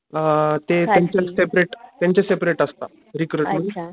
ते अ त्याचे सेपरेट त्यांचे सेपरेट असता रिक्रूटमेंट